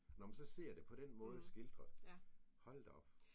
Når man så ser det på den måde skildret. Hold da op!